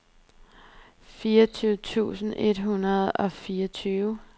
fireogtyve tusind et hundrede og fireogtyve